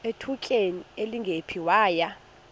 ngethutyana elingephi waya